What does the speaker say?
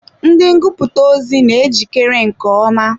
Ndị ngụputa ozi na ejikere nke ọma.